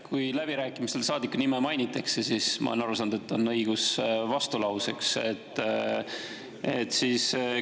Kui läbirääkimistel saadiku nime mainitakse, siis on õigus vastulauseks, ma olen aru saanud.